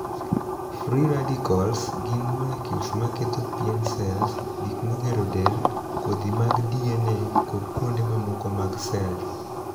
'Free radicals' gin 'molecules' ma ketho pien sels, gik magero del, kodhi mag DNA, kod kuonde mamoko mag sel